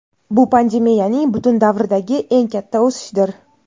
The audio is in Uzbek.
Bu pandemiyaning butun davridagi eng katta o‘sishdir.